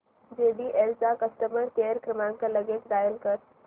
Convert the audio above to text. JBL चा customer care क्रमांक लगेच डायल कर